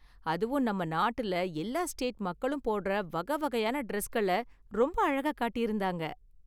அதுவும் நம்ம நாட்டுல எல்லா ஸ்டேட் மக்களும் போடுற வகை வகையான டிரஸ்கள ரொம்ப அழகா காட்டியிருந்தாங்க.